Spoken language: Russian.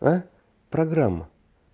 аа программа